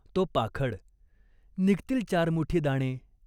तो पाखड. निघतील चार मुठी दाणे.